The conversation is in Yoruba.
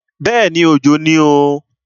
Bẹ́ẹ̀ni, Òjò ni o.